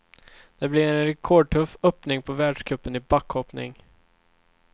Det blir en rekordtuff öppning på världscupen i backhoppning.